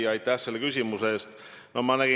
Hea küsija, aitäh selle küsimuse eest!